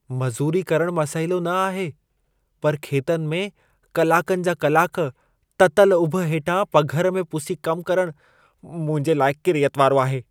मज़ूरी करणु मसइलो न आहे, पर खेतनि में कलाकनि जा कलाक, ततल उभ हेठां पघर में पुसी कमु करणु मुंहिंजे लाइ किरियत वारो आहे।